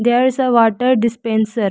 There is a water dispenser.